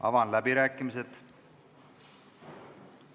Avan läbirääkimised.